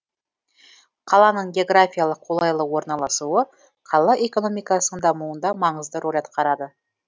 қаланың географиялық қолайлы орналасуы қала экономикасының дамуында маңызды рөл атқарады